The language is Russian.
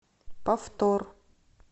повтор